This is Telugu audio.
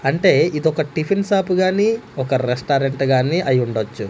అంటే ఇది ఒక టిఫిన్ షాపుగాని ఒక రెస్టారెంట్ గాని అయ్యుండొచ్చు--